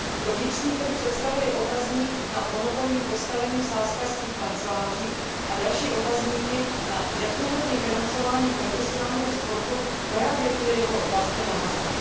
Pro vnitřní trh představuje otazník nad monopolním postavením sázkařských kanceláří a další otazníky nad neprůhledným financováním profesionálního sportu právě kvůli jeho vazbě na hazard.